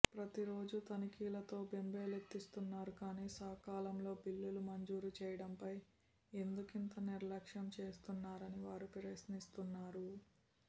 ప్రతి రోజు తనిఖీలతో బెంబేలెత్తిస్తున్నారు కానీ సకాలంలో బిల్లులు మంజూరు చేయడంపై ఎందుకింత నిర్లక్షం చేస్తున్నారని వారు ప్రశ్నిస్తున్నారు